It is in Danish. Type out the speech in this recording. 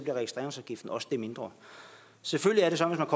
at registreringsafgiften også bliver det mindre selvfølgelig er det sådan at